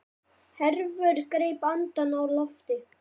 Hervör greip andann á lofti.